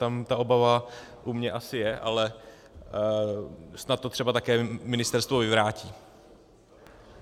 Tam ta obava u mě asi je, ale snad to třeba také ministerstvo vyvrátí.